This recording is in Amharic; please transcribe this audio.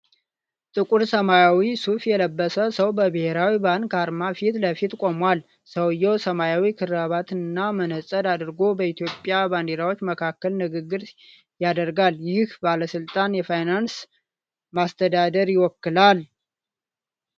ጥቁር ሰማያዊ ሱፍ የለበሰ ሰው በብሔራዊ ባንክ አርማ ፊት ለፊት ቆሟል። ሰውዬው ሰማያዊ ክራባትና መነጽር አድርጎ፣ በኢትዮጵያ ባንዲራዎች መካከል ንግግር ያደርጋል። ይህ ባለሥልጣን የፋይናንስን ማስተዳደር ይወክላል።